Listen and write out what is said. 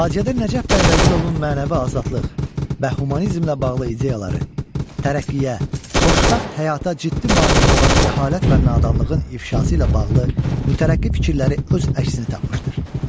Faciədə Nəcəf bəy Vəzirovun mənəvi azadlıq və humanizmlə bağlı ideyaları, tərəqqiyə, xoşbəxt həyata ciddi maneə olan cəhalət və nadanlığın ifşası ilə bağlı mütərəqqi fikirləri öz əksini tapmışdır.